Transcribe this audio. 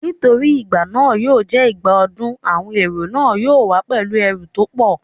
Nítorí igbà náà yóò jẹ́ ìgbà ọdún, àwọn èrò náà yóò wá pẹ̀lú ẹrù tó pọ̀